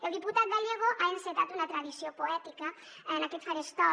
el diputat gallego ha encetat una tradició poètica en aquest faristol